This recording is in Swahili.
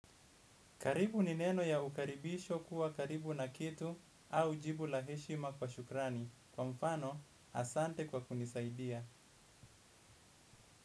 Karibu ni neno ya ukaribisho kuwa karibu na kitu au jibu laheshima kwa shukrani. Kwa mfano, asante kwa kunisaidia.